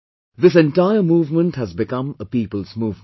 This entire movement has become a people's movement